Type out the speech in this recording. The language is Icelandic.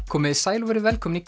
komiði sæl og verið velkomin í